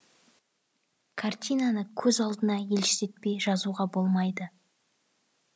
картинаны көз алдына елестетпей жазуға болмайды